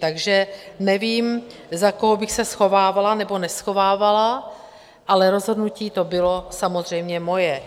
Takže nevím, za koho bych se schovávala nebo neschovávala, ale rozhodnutí to bylo samozřejmě moje.